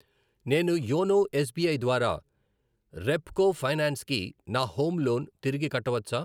నేను YONO S B I ద్వారా Repco finance కి నా హోమ్ లోన్ తిరిగి కట్టవచ్చా?